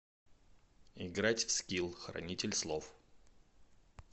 играть в скилл хранитель слов